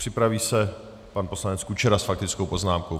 Připraví se pan poslanec Kučera s faktickou poznámkou.